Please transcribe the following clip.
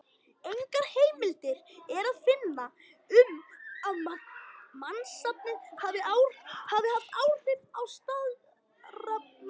Engar heimildir er að finna um að mannsnafnið hafi haft áhrif á staðarnafnið.